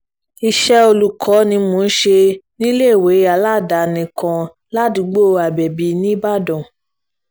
iṣẹ́ olùkọ́ ni mò ń ṣe níléèwé aládàáni kan ládùúgbò abẹ́bí nìbàdàn